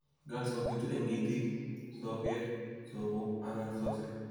Galls kobiitu eng' iitiik, sogeek, sobok, anan sosik,